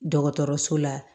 Dɔgɔtɔrɔso la